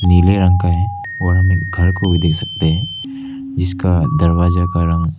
नीले रंग का है और हम एक घर को भी दे सकते हैं जिसका दरवाजा का रंग--